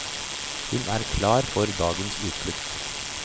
Hun er klar for dagens utflukt.